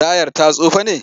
Tayar ta tsufa ne?